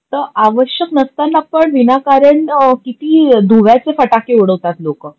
त अवश्यक नसतांना पण विनाकारण किती दुव्याचे फटाके उडवतात लोक.